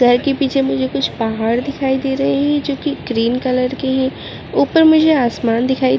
घर के पीछे मुझे कुछ पहाड़ दिखाई दे रहे हैं जो की ग्रीन कलर के है ऊपर मुझे आसमान दिखाई --